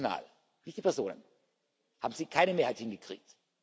funktional, nicht die Personen haben Sie keine Mehrheit hingekriegt.